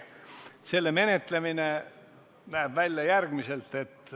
Selle menetlemine näeb välja järgmiselt.